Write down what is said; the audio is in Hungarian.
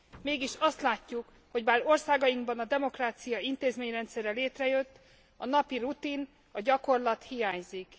Mégis azt látjuk, hogy bár országainkban a demokrácia intézményrendszere létrejött, a napi rutin, a gyakorlat hiányzik.